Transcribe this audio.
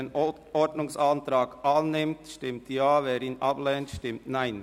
Wer den Ordnungsantrag annimmt, stimmt Ja, wer ihn ablehnt, stimmt Nein.